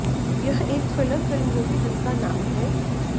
यह एक thriller film होगी जिसका नाम है